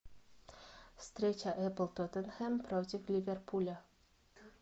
встреча апл тоттенхэм против ливерпуля